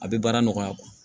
A bɛ baara nɔgɔya